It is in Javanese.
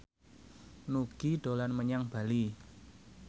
Nugie dolan menyang Bali